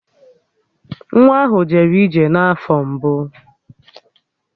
Nwa ahụ jere ije n'afọ mbụ